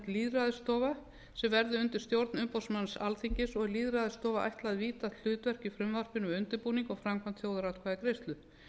lýðræðisstofa sem verði undir stjórn umboðsmanns alþingis og er lýðræðisstofu ætlað víðtækt hlutverk í frumvarpinu við undirbúning og framkvæmd þjóðaratkvæðagreiðslu